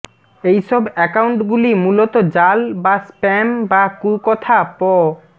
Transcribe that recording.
এইসব অ্যাকাউন্টগুলি মূলত জাল বা স্প্যাম বা কুকথা প